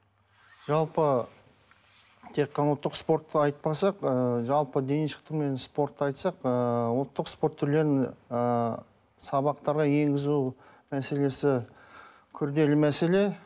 жалпы тек қана ұлттық спортты айтпасақ ы жалпы дене шынықтыру мен спортты айтсақ ы ұлттық спорт түрлерін ы сабақтарға енгізу мәселесі күрделі мәселе